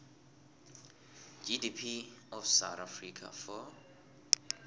gdp of south africa for